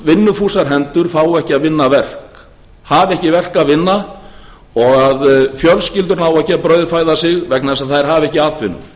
vinnufúsar hendur fá ekki að vinna verk hafa ekki verk að vinna og að fjölskyldur nái ekki að brauðfæða sig vegna þess að þær hafa ekki atvinnu